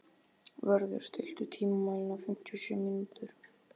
Vörður, stilltu tímamælinn á fimmtíu og sjö mínútur.